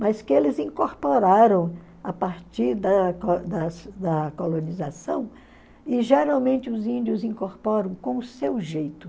mas que eles incorporaram a partir da co das da colonização, e geralmente os índios incorporam com o seu jeito.